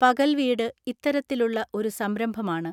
പകൽ വീട് ഇത്തരത്തിലുള്ള ഒരു സംരംഭമാണ്.